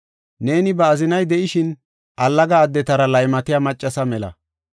Neeni ba azinay de7ishin, allaga addetara laymatiya maccasa mela.